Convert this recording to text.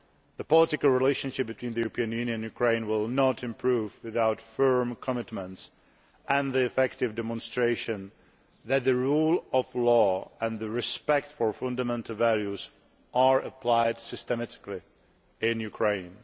The political relationship between the European Union and Ukraine will not improve without firm commitments and an effective demonstration that the rule of law and respect for fundamental values are applied systematically in Ukraine.